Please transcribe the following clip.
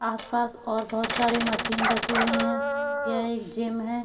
आस-पास और बहोत सारे मशीन रखी हुई हैं यह एक जिम है।